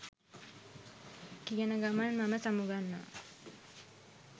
කියන ගමන් මම සමුගන්නවා